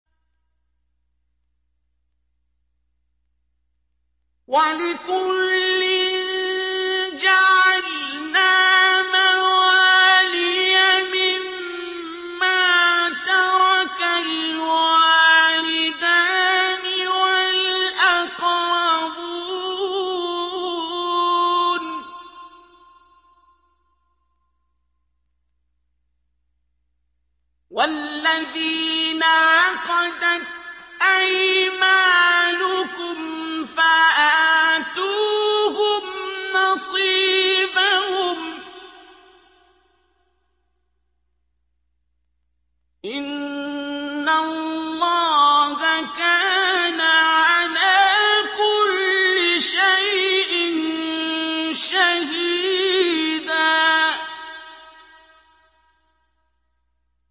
وَلِكُلٍّ جَعَلْنَا مَوَالِيَ مِمَّا تَرَكَ الْوَالِدَانِ وَالْأَقْرَبُونَ ۚ وَالَّذِينَ عَقَدَتْ أَيْمَانُكُمْ فَآتُوهُمْ نَصِيبَهُمْ ۚ إِنَّ اللَّهَ كَانَ عَلَىٰ كُلِّ شَيْءٍ شَهِيدًا